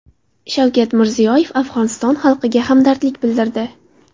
Shavkat Mirziyoyev Afg‘oniston xalqiga hamdardlik bildirdi.